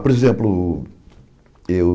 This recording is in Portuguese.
Por exemplo, eu...